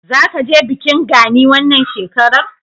Zaka je bikin Gani wannan shekarar?